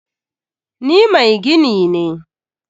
Ni mai gini ne.